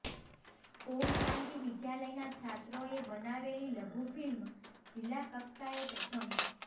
ઓમ શાંતિ વિદ્યાલયના છાત્રોએ બનાવેલી લઘુફિલ્મ જિલ્લા કક્ષાએ પ્રથમ